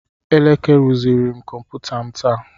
Eleke rụziri m kọmputa m taa.